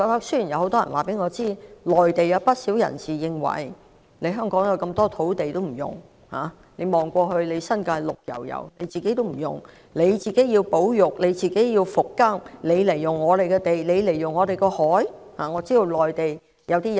雖然很多人告訴我，內地有不少人認為，香港有這麼多土地不用，新界一片綠油油卻不用、要保育、要復耕，為甚麼要使用他們的土地和海洋？